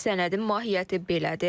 Sənədin mahiyyəti belədir.